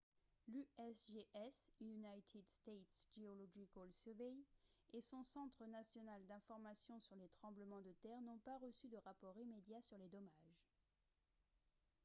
l’usgs united states geological survey et son centre national d’information sur les tremblements de terre n’ont pas reçu de rapports immédiats sur les dommages